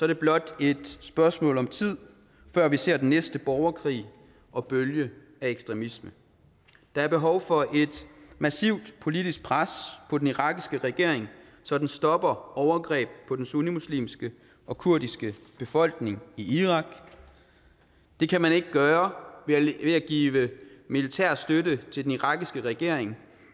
det blot et spørgsmål om tid før vi ser den næste borgerkrig og bølge af ekstremisme der er behov for et massivt politisk pres på den irakiske regering så den stopper overgreb på den sunnimuslimske og kurdiske befolkning i irak det kan man ikke gøre ved at give militær støtte til den irakiske regering